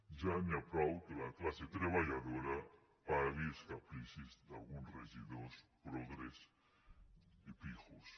ja n’hi ha prou que la classe treballadora pagui els capricis d’alguns regidors progres i pijos